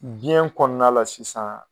Biɲɛ kɔnɔna la sisan.